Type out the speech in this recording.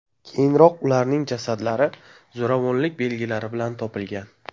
Keyinroq ularning jasadlari zo‘ravonlik belgilari bilan topilgan.